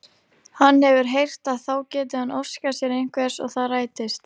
Hann hefur heyrt að þá geti hann óskað sér einhvers og það rætist!